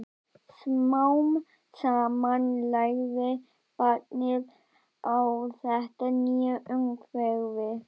Smám saman lærði barnið á þetta nýja umhverfi.